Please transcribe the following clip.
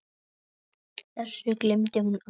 Þessu gleymdi hún aldrei.